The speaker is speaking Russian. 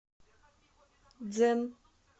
дзен